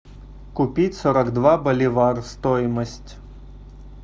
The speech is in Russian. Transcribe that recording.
купить сорок два боливар стоимость